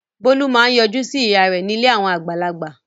Bólú máa ń yọjú sí ìyá rẹ̀ ní ilé àwọn àgbàlagbà.